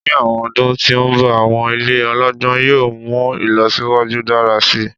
Ni awọn ọdun ti n bọ awọn ile ọlọgbọn yoo mu ilọsiwaju dara si